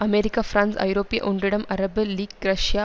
America France ஐரோப்பிய ஒன்றிடம் Arab league Russia